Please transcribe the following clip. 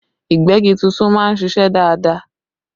Ìgbẹ́gi tuntun máa ń ṣiṣẹ́ dáadáa